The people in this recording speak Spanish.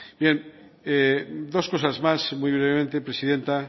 dos cosas más muy brevemente presidenta